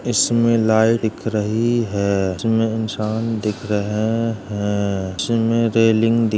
इसमें लाई दिख रही है। इसमें इन्सान दिख रहे हैं। इसमें रेलिंग दिख --